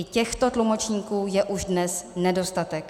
I těchto tlumočníků je už dnes nedostatek.